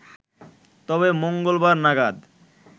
তবে মঙ্গলবার নাগাদ